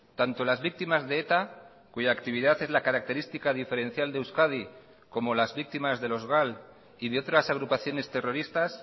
tanto las víctimas de eta cuya actividad es la característica diferencial de euskadi como las víctimas de los gal y de otras agrupaciones terroristas